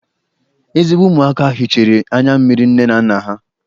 Ezigbo ụmụaka hichara anya mmiri nne na nna ha